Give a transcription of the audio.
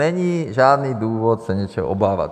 Není žádný důvod se něčeho obávat.